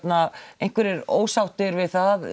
einhverjir ósáttir við það